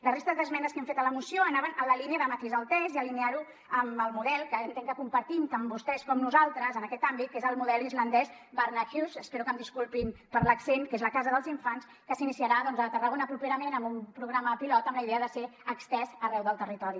la resta d’esmenes que hem fet a la moció anaven en la línia de matisar el text i alinearlo amb el model que entenc que compartim tant vostès com nosaltres en aquest àmbit que és el model islandès barnahus espero que em disculpin per l’accent que és la casa dels infants que s’iniciarà doncs a tarragona properament amb un programa pilot amb la idea de ser estès arreu del territori